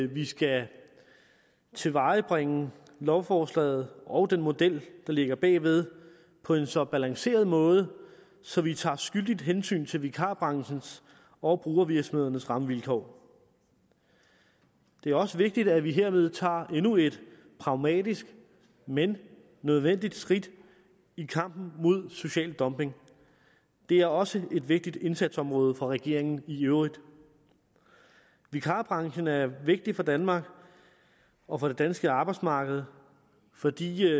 vi skal tilvejebringe lovforslaget og den model der ligger bag ved på en så balanceret måde så vi tager skyldigt hensyn til vikarbranchens og brugervirksomhedernes rammevilkår det er også vigtigt at vi hermed tager endnu et pragmatisk men nødvendigt skridt i kampen mod social dumping det er også et vigtigt indsatsområde for regeringen i øvrigt vikarbranchen er vigtig for danmark og for det danske arbejdsmarked fordi